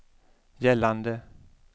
gällande